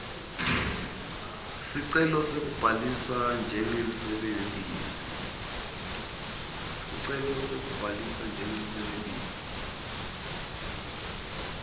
sicelo sekubhalisa njengemsebentisi